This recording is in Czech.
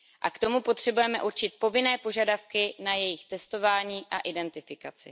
K tomu potřebujeme určit povinné požadavky na jejich testování a identifikaci.